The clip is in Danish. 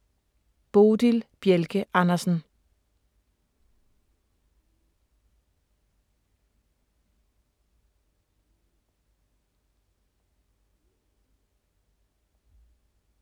Bodil Bjelke Andersen